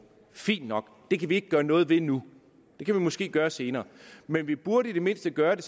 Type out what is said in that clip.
fint nok det kan vi ikke gøre noget ved nu det kan vi måske gøre senere men vi burde i det mindste gøre det